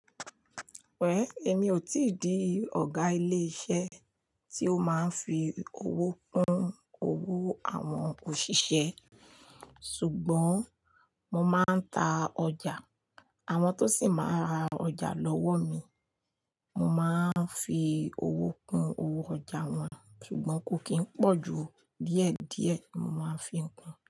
Well, èmi ò tíì di ọ̀gá ilé iṣẹ́ tí ó máa ń fi owó kún owó àwọn òṣìṣẹ́, ṣùgbọ́n mo máa ń ta ọjà, àwọn tó sì máa ń ra ọjà lọ́wọ́ mi, mo máa ń fi owó kún owó ọjà wọn, ṣùgbọ́n kó kì í n pọ̀ ju díẹ̀díẹ̀, mo máa ń fi ń kún.